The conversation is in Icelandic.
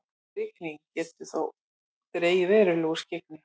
mikil rigning getur þó dregið verulega úr skyggni